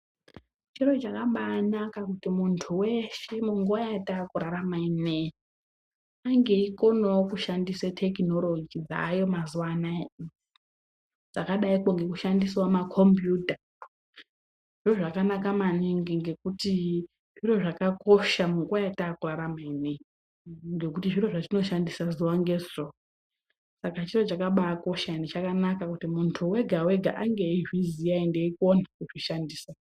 Chiro chakabanaka kuti muntu weshe munguwa yatakurarama inei ange eikonawo kushandisa tekunoroji dzaayo mazuwanaya dzakadaikwo ngekushandisawo ma kombiyuta zviro zvakanaka maningi ngekuti zviro zvakakosha munguwa yatakurarama inei ngekuti zviro zvatinoshandisa zuwa ngezuwa saka chiro chakabakosha ende chakanaka kuti muntu wega wega ange eizviziya enfe eikona kuzvishandisa.